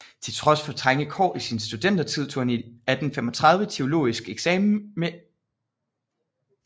Til trods for trange kår i sin studentertid tog han 1835 teologisk eksamen med egregie